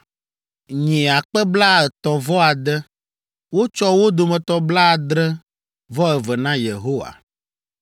nyi akpe blaetɔ̃ vɔ ade (36,000), wotsɔ wo dome blaadre-vɔ-eve na Yehowa,